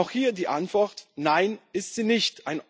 Auch hier die Antwort Nein, ist sie nicht.